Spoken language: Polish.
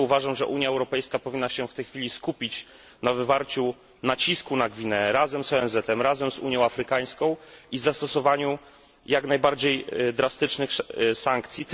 Dlatego uważam, że Unia Europejska powinna się w tej chwili skupić na wywarciu nacisku na Gwineę, razem z ONZ i Unią Afrykańską oraz zastosować jak najbardziej drastyczne sankcje.